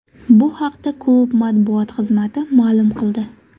Bu haqda klub matbuot xizmati ma’lum qildi .